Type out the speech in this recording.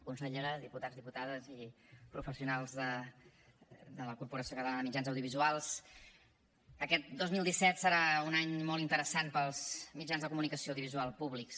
consellera diputats diputades i professionals de la corporació catalana de mitjans audiovisuals aquest dos mil disset serà un any molt interessant per als mitjans de comunicació audiovisual públics